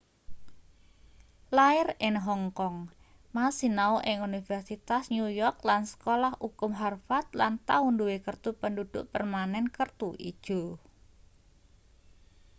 lair in hong kong ma sinau ing universitas new york lan sekolah ukum harvard lan tau duwe kertu penduduk permanen kertu ijo